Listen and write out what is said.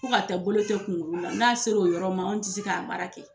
Fo ka tɛ bolo tɛ kunkuru la . N'a sera o yɔrɔ ma anw ti se k'o baara kɛ.